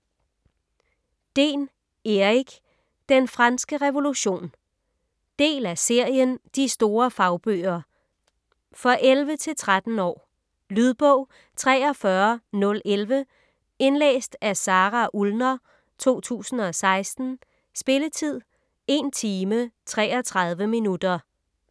Dehn, Erik: Den franske revolution Del af serien De store fagbøger. For 11-13 år. Lydbog 43011 Indlæst af Sara Ullner, 2016. Spilletid: 1 timer, 33 minutter.